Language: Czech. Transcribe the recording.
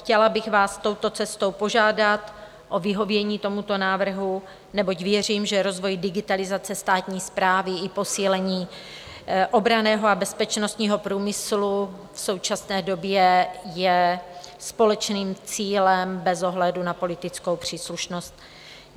Chtěla bych vás touto cestou požádat o vyhovění tomuto návrhu, neboť věřím, že rozvoj digitalizace státní správy i posílení obranného a bezpečnostního průmyslu v současné době je společným cílem bez ohledu na politickou příslušnost.